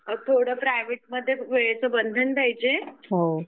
थोडं प्रायव्हेट मध्ये वेळेचं बंधन पाहिजे